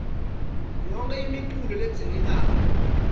yonkhe imiculu ledzingekako